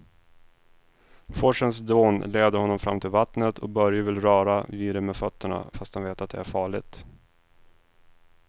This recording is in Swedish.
Forsens dån leder honom fram till vattnet och Börje vill röra vid det med fötterna, fast han vet att det är farligt.